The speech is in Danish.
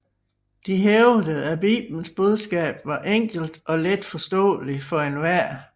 De hævdede at Bibelens budskab var enkelt og letforståelig for enhver